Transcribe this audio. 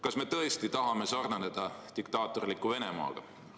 Kas me tõesti tahame sarnaneda diktaatorliku Venemaaga?